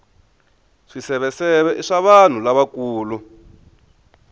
swiseveseve i swa vanhu lavakulu